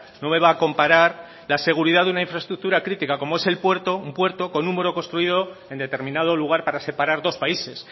no me va a comparar la seguridad de una infraestructura crítica como es el puerto un puerto con un muro construido en determinado lugar para separar dos países